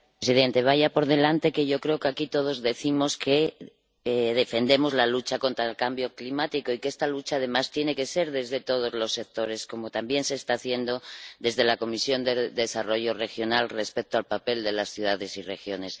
Señor presidente, vaya por delante que yo creo que aquí todos decimos que defendemos la lucha contra el cambio climático y que esta lucha, además, tiene que ser desde todos los sectores, como también se está haciendo desde la Comisión de Desarrollo Regional respecto al papel de las ciudades y regiones.